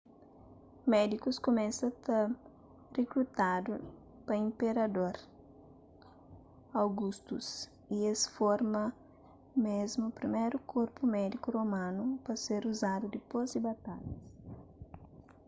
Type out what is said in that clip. médikus kumesa ta rikrutadu pa inperador augustus y es forma mésmu priméru korpu médiku romanu pa ser uzadudipôs di batalhas